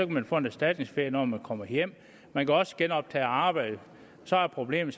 man få en erstatningsferie når man kommer hjem man kan også genoptage arbejdet så er problemet